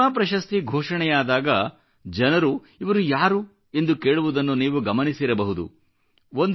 ಪದ್ಮ ಪ್ರಶಸ್ತಿ ಘೋಷಣೆಯಾದಾಗ ಜನರು ಇವರು ಯಾರು ಎಂದು ಕೇಳುವುದನ್ನು ನೀವು ಗಮನಿಸಿರಬಹುದು